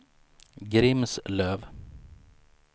Grimslöv